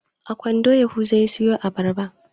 A kwando yahuza ya sayo abarba.